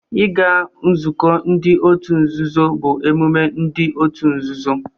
Ịga nzukọ ndị otu nzuzo bụ emume ndị otu nzuzo